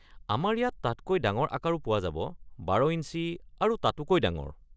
আমাৰ ইয়াত তাতকৈ ডাঙৰ আকাৰো পোৱা যাব ১২ ইঞ্চি আৰু তাতোকৈ ডাঙৰ।